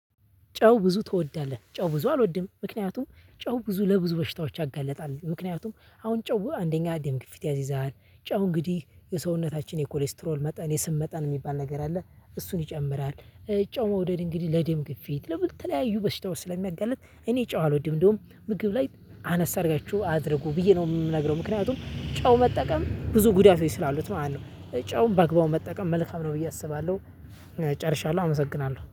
ጨው ብዙ ትወዳለህ? ጨው ብዙ አልወድም ምክንያቱም ጨው ብዙ ለብዙ በሽታዎች ያጋልጣል። ምክንያቱም አሁን ጨው አንደኛ ደም ግፊት ያስይዛል ጨው እንግዲህ የሰውነታችን የኮሌስትሮል መጠን የስብ መጠን የሚባል ነገር አለ እሱን ይጨምራል። ጨው መውደድ እንግዲህ ለድም ግፊት ለተለያዩ በሽታዎች ስለሚያጋልጥ እኔ ጨው አልወድም። እንደውም ምግብ ላይ አነስ አድርጋችሁ አድርጉ ብዬ ነው የምነግረው። ምክንያቱም ጨው መጠቀም ብዙ ጉዳይ ስላሉት ማለት ነው። ጨውን በአግባቡ መጠቀም መልካም ነው ብዬ አስባለሁ። ጨርሻለሁ አመሰግናለሁ